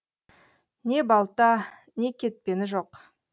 не балта не кетпені жоқ